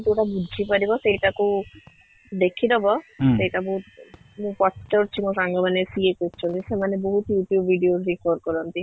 ଯୋଉଟା ବୁଝି ପାରିବ ସେଇଟା କୁ ଦେଖିଦବ ସେଇଟା ବହୁତ ମୁଁ ପଚାରୁଛି ମୋ ସାଙ୍ଗ ମାନେ କିଏ କରୁଛନ୍ତି ସେମାନେ ବହୁତ YouTube videos କରନ୍ତି